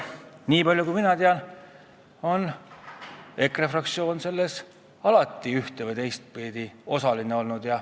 Nii palju kui mina tean, on EKRE fraktsioon selles alati ühte- või teistpidi osaline olnud.